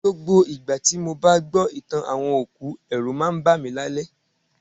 Gbogbo ìgbà tí mo bá gbọ́ ìtàn àwọn òkú, ẹ̀rù máa ń bá mi lálẹ́